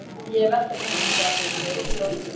Ég hef verkefni handa þér segir Stórfurstinn.